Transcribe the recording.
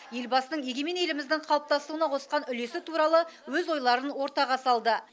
елбасының егемен еліміздің қалыптасуына қосқан үлесі туралы өз ойларын ортаға салды